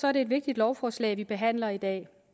er det et vigtigt lovforslag vi behandler i dag